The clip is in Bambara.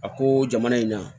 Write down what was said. A ko jamana in na